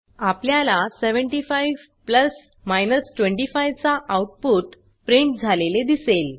आपल्याला 75 प्लस 25 चा output print झालेले दिसेल